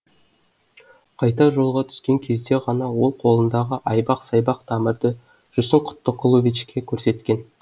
қайтар жолға түскен кезде ғана ол қолындағы айбақ сайбақ тамырды жүрсін құттықұловичке көрсеткен